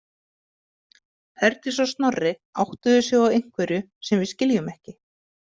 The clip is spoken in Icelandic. Herdís og Snorri áttuðu sig á einhverju sem við skiljum ekki.